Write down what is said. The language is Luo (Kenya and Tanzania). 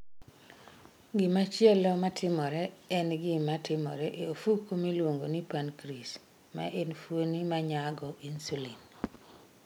Gimachielo matimore en gima timore e ofuko miluongo ni pancreas, ma en fuoni ma nyago insulin